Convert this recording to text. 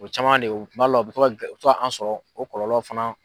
O caman de kuma dɔ la o bɛ to ka o bɛ to ka an sɔrɔ o kɔlɔlɔ fana